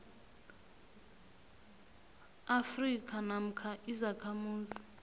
afrika namkha izakhamuzi